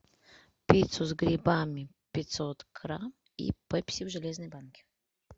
пиццу с грибами пятьсот грамм и пепси в железной банке